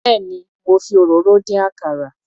Béèni mo fi òróró dín àkàrà.